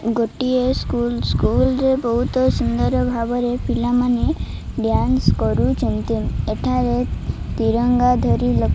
ଗୋଟିଏ school school ରେ ବୋହୁତ ସୁନ୍ଦର ଭାବରେ ପିଲାମାନେ ଡ୍ୟାନ୍ସ୍ କରୁଚନ୍ତି ଏଠାରେ ତିରଙ୍ଗା ଧରି ଲୋ --